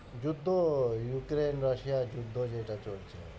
যুদ্ধ ইউক্রেন, রাশিয়ার যুদ্ধ যেটা চলছে।